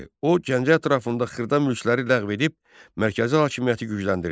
O Gəncə ətrafında xırda mülkləri ləğv edib mərkəzi hakimiyyəti gücləndirdi.